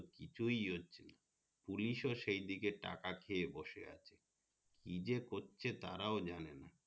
কিছুই হচ্ছে না police ও সি দিকে টাকা খেয়ে বসে আছে কি যে করছে তারাও জানে না